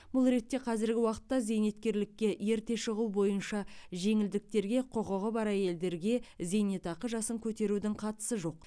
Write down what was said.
бұл ретте қазіргі уақытта зейнеткерлікке ерте шығу бойынша жеңілдіктерге құқығы бар әйелдерге зейнетақы жасын көтерудің қатысы жоқ